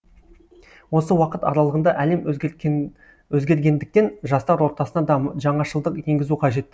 осы уақыт аралығында әлем өзгергендіктен жастар ортасына да жаңашылдық енгізу қажет